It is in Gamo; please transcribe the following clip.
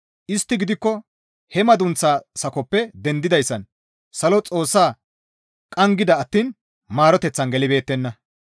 Istti gidikko he madunththaa sakozappe dendidayssan salo Xoossaa qanggida attiin maaroteththan gelibeettenna.